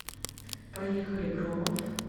поехали громов